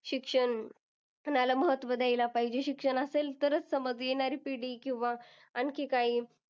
शिक्षण आला महत्व द्यायला पाहिजे. शिक्षण असेल तरच समज येणारी पिढी किंवा आणखी काही.